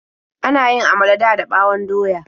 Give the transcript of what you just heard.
Ana yin amala dada ɓawon doya.